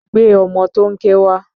Gbé ọmọ tó ń ké wá!